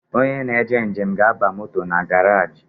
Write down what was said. Onye na-eje njem ga-aba moto na garaji